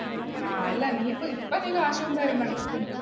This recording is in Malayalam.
ആ അല്ല നീ ഇപ്പ കാശൊന്നും തരണ്ട.